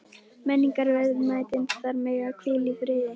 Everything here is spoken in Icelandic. Menningarverðmætin þar mega hvíla í friði.